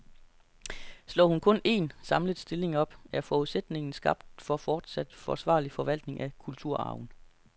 Slår hun kun en, samlet stilling op, er forudsætningen skabt for fortsat forsvarlig forvaltning af kulturarven.